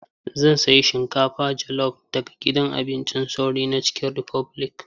Zan sayi shinkafa jelof daga gidan abincin sauri na Cikin Rifobilik.